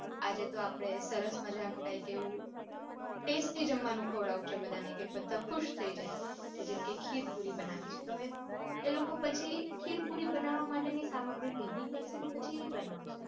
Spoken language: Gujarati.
આજે તો આપડે સરસ મજાનું ક્યાક એવું tasty જમવાનું ખવાડવું છે બધાને કે બધા ખુશ થઇ જાય જેમ કે ખીર પૂરી બનાવી છે. તો હવે એ લોકો પછી ખીર પૂરી બનાવા માટેની સામગ્રી ભેગી કરશે અને પછી ઇ બનાવશે.